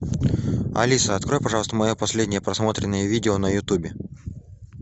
алиса открой пожалуйста мое последнее просмотренное видео на ютубе